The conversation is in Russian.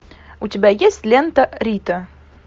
у тебя есть лента рита